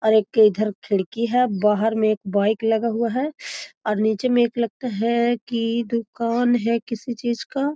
और एक इधर खिड़की है बाहर में एक बाइक लगा हुआ है और नीचे में एक लगता है की दुकान है किसी चीज का।